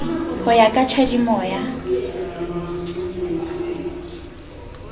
ho ya ka tjhadimo ya